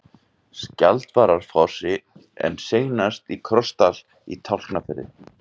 Skjaldvararfossi en seinast í Krossdal í Tálknafirði.